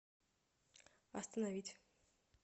остановить